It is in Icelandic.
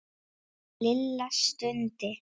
Lilla stundi.